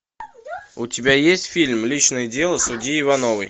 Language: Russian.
у тебя есть фильм личное дело судьи ивановой